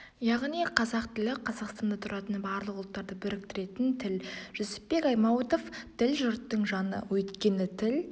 яғни қазақ тілі қазақстанда тұратын барлық ұлттарды біріктіретін тіл жүсіпбек аймауытов тіл жұрттың жаны өйткені тіл